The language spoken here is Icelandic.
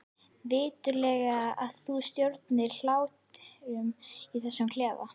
Viturlegast að þú stjórnir hlátrinum í þessum klefa.